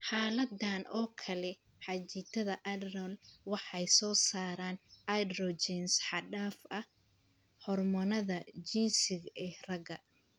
Xaaladdan oo kale, qanjidhada adrenal waxay soo saaraan androgens xad-dhaaf ah (hormoonnada jinsiga ee ragga).